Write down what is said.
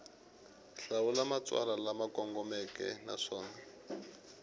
hlawula matsalwa lama kongomeke naswona